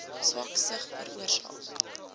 swak sig veroorsaak